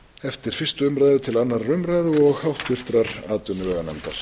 eftir fyrstu umræðu til annarrar umræðu og háttvirtrar atvinnuveganefndar